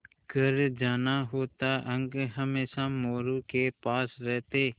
घर जाना होता अंक हमेशा मोरू के पास रहते